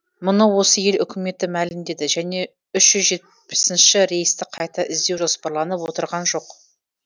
мұны осы ел үкіметі мәлімдеді және ші рейсті қайта іздеу жоспарланып отырған жоқ